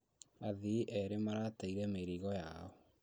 Athii erĩ marateire mĩrigo yao